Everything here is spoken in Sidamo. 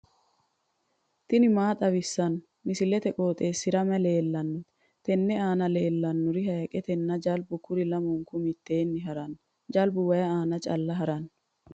tini maa xawissanno misileeti? qooxeessisera may leellanno? tenne aana leellannori hayiiqetenna jalbaho kuri lamunku mitteenni harannoreeti jalbu way aana calla haranno.